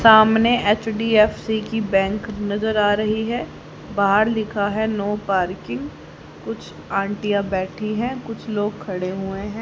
सामने एच_डी_एफ_सी की बैंक नजर आ रही है बाहर लिखा है नो पार्किंग कुछ आंटियां बैठी हैं कुछ लोग खड़े हुए हैं।